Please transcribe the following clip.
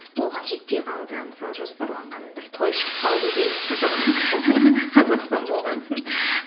оған жетпей қалды мысалы жоспарланған бір той шығып қалды делік қазақ қазақстан болған соң